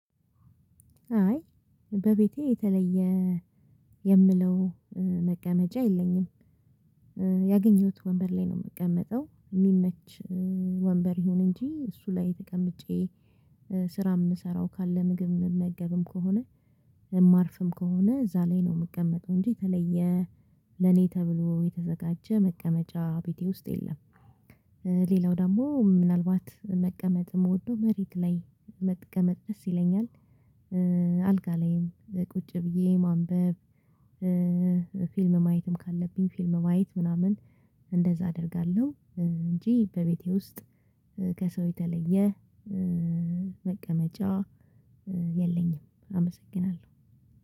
አይ፣ በቤቴ የተለየ የምለው መቀመጫ የለኝም። ያገኘሁት ወንበር ላይ ነው የምቀመጠው፤ የሚመች ወንበር ይሁን እንጂ እሱ ላይ ተቀምጬ ስራ የምሰራው ካለ ምግብ የምመገብም ከሆነ፣ ማርፍም ከሆነ፣ እዛ ላይ ነው የምቀመጠው እንጂ የተለየ ለኔ ተብሎ የተዘጋጀ መቀመጫ ቤቴ ውስጥ የለም። ሌላው ደግሞ ምናልባት መቀመጥ የምወደው መሬት ላይ መቀመጥ ደስ ይለኛል። ላይም ቁጭ ብዬ ማንበብ፣ ፊልም ማየትም ካለብኝ ፊልም ማየት ምናምን እንደዛ አደርጋለሁ እንጂ በቤቴ ውስጥ ከሰው የተለየ መቀመጫ የለኝም። አመሰግናለሁ